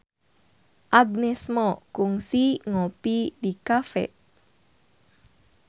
Agnes Mo kungsi ngopi di cafe